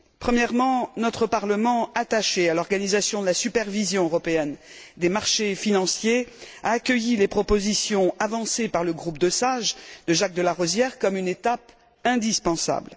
Premièrement, notre Parlement, attaché à l'organisation de la supervision européenne des marchés financiers, a accueilli les propositions avancées par le groupe de sages de Jacques de Larosière comme une étape indispensable.